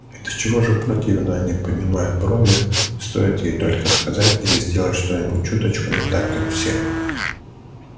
и до чего же противно они поднимают брови стоит ей только сказать или сделать что-нибудь чуточку не так как все